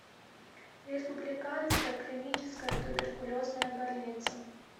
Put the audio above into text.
республиканская клиническая туберкулезная больница